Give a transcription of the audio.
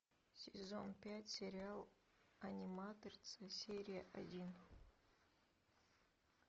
сезон пять сериал аниматрица серия один